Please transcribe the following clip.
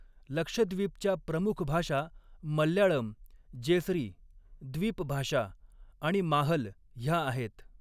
लक्षद्वीपच्या प्रमुख भाषा मल्याळम, जेसरी द्वीपभाषा आणि माहल ह्या आहेत.